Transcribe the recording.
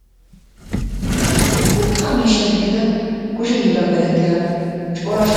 urqqaa miishsha gidida kushe hilla merettiya corasha